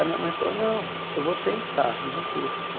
A minha mãe falou, não, eu vou tentar, não custa.